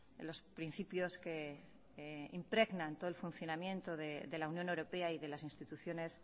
en los principios que impregnan todo el funcionamiento de la unión europea y de las instituciones